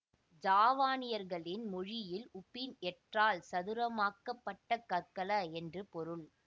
ஜாவாநியர்களின் மொழியில் உபின் எட்ரால் சதுரமாக்கப் பட்ட கற்கள என்று பொருள்